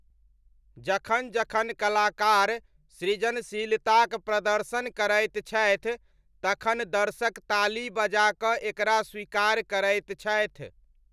जखन जखन कलाकार सृजनशीलताक प्रदर्शन करैत छथि तखन दर्शक ताली बजाकऽ एकरा स्वीकार करैत छथि।